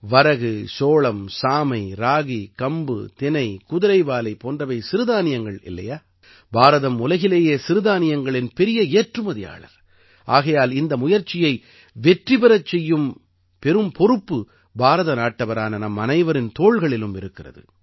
வரகு சோளம் சாமை ராகி கம்பு தினை குதிரைவாலி போன்றவை சிறுதானியங்கள் இல்லையா பாரதம் உலகிலேயே சிறுதானியங்களின் பெரிய ஏற்றுமதியாளர் ஆகையால் இந்த முயற்சியை வெற்றி பெறச் செய்ய பெரும் பொறுப்பு பாரத நாட்டவரான நம் அனைவரின் தோள்களிலும் இருக்கிறது